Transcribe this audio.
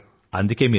ధన్యవాదాలు